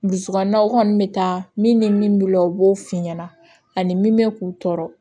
Dusukunna o kɔni bɛ taa min ni min b'i la o b'o f'i ɲɛna ani min bɛ k'u tɔɔrɔ